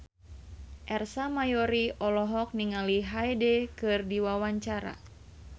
Ersa Mayori olohok ningali Hyde keur diwawancara